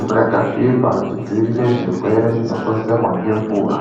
mvura yakachena tidzivirire zvirwere zvinokonzerwa nemvura .